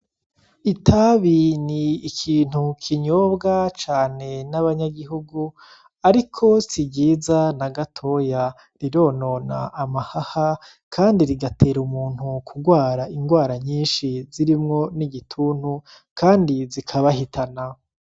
Itabi ni ikintu kinyobwa cane n'abanyagihugu ariko si ryiza nagatoya. Rironona amahaha kandi rigatera umuntu kugwara ingwara nyinshi zirimwo n'igituntu kandi zikabahitana.